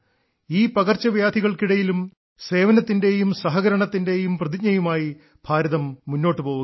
ഈ പകർച്ചവ്യാധികൾക്കിടയിലും സേവനത്തിന്റെയും സഹകരണത്തിന്റെയും പ്രതിജ്ഞയുമായി ഭാരതം മുന്നോട്ട് പോവുകയാണ്